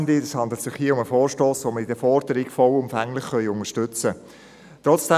Es handelt sich um einen Vorstoss, dessen Forderung wir vollumfänglich unterstützen können.